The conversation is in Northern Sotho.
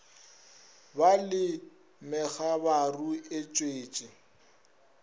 ba le megabaru e tšwetše